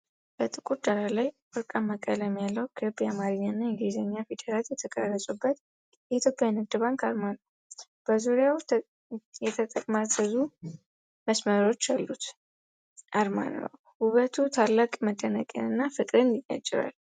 በጥቁር ዳራ ላይ፣ ወርቃማ ቀለም ያለው፣ ክብ የአማርኛና የእንግሊዝኛ ፊደላት የተቀረጹበት የኢትዮጵያ ንግድ ባንክ አርማ ነው። በዙሪያው የተጠማዘዙ መስመሮች ያሉት አርማ ነው፣ ውበቱ ታላቅ መደነቅና ፍቅርን ያጭራል።